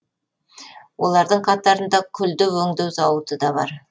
олардың қатарында күлді өңдеу зауыты да бар